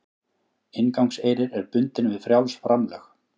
Inngangseyrir er bundinn við frjáls framlög